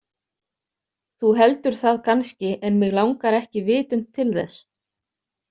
Þú heldur það kannski en mig langar ekki vitund til þess.